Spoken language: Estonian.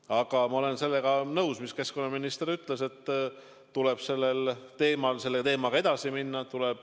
Aga ma olen nõus sellega, mida keskkonnaminister ütles, et selle teemaga tuleb edasi minna.